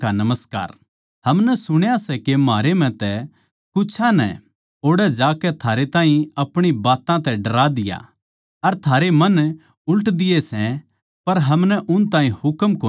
हमनै सुण्या सै के म्हारै म्ह तै कुछां नै ओड़ै जाकै थारै ताहीं अपणी बात्तां तै डरा दिया अर थारै मन उल्ट दिये सै पर हमनै उन ताहीं हुकम कोनी दिया था